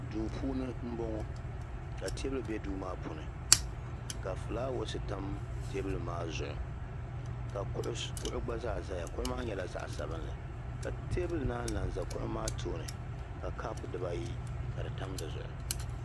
duu puuni n bɔŋɔ ka teebuli bɛ duu maa puuni ka fulaawes tam teebuli maa zuɣu ka kuɣu gba zaa ʒɛya kuɣu maa nyɛla zaɣ sabinli ka teebuli naan lahi ʒɛ kuɣu maa tooni ka kaap dibayi ka di tam dizuɣu